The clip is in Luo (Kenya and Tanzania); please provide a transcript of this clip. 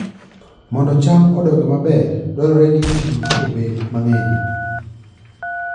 Mondo cham odongi maber, dwarore ni pi obed mang'eny